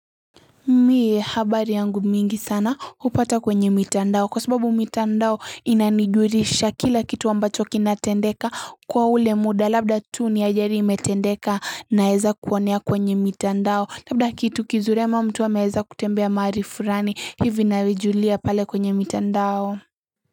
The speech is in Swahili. Mie habari yangu mingi sana hupata kwenye mitandao kwa sababu mitandao inanijulisha kila kitu wa ambacho kinatendeka kwa ule muda labda tu ni ajali imetendeka naeza kuinea kwenye mitandao labda kitu kizuri ama mtu ameweza kutembea mahali fulani hivi navijulia pale kwenye mitandao.